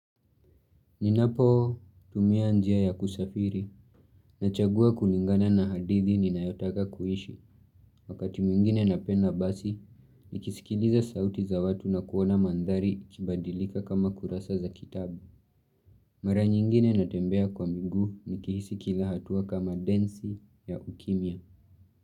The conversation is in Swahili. Ninapotumia njia ya kusafiri, nachagua kulingana na hadithi ninayotaka kuishi. Wakati mwingine napenda basi, nikisikiliza sauti za watu na kuona mandhari kibadilika kama kurasa za kitabu. Mara nyingine natembea kwa miguu nikihisi kila hatua kama densi ya ukimya.